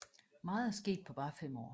Meget er sket på bare 5 år